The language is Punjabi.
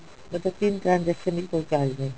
ਮਤਲਬ ਤਿੰਨ transaction ਲਈ ਕੋਈ charge ਨਹੀਂ